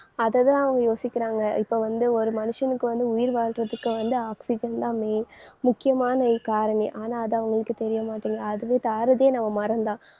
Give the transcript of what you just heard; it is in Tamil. அதைத்தான் அவங்க யோசிக்கிறாங்க. இப்ப வந்து ஒரு மனுஷனுக்கு வந்து உயிர் வாழ்றதுக்கு வந்து oxygen தான் main முக்கியமான இ~ காரணி. ஆனா அது அவங்களுக்கு தெரியமாட்டேங்குது. அதுவே தாரதே நம்ம மரந்தான்.